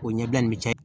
O ɲɛbila nin be caya